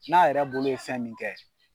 N'a yɛrɛ bolo ye fɛn min kɛ.